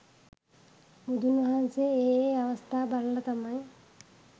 බුදුන් වහන්සේ ඒ ඒ අවස්ථා බලල තමයි